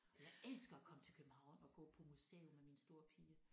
Og jeg elsker at komme til København og gå på museum med min store pige